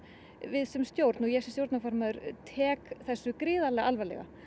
við sem stjórn og ég sem stjórnarformaður tek þessu gríðarlega alvarlega